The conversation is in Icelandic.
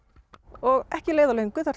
og ekki leið á löngu þar